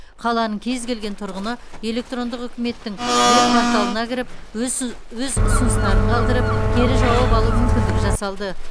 қаланың кез келген тұрғыны электрондық үкіметтің веб порталына кіріп өз өз ұсыныстарын қалдырып кері жауап алу мүмкіндігі жасалды